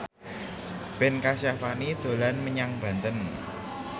Ben Kasyafani dolan menyang Banten